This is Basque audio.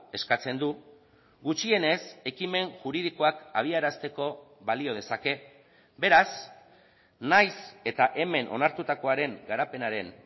eskatzen du gutxienez ekimen juridikoak abiarazteko balio dezake beraz nahiz eta hemen onartutakoaren garapenaren